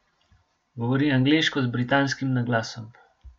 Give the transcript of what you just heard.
Govori angleško z britanskim naglasom.